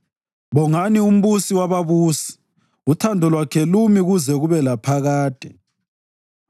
Bongani uMbusi wababusi: Uthando lwakhe lumi kuze kube laphakade.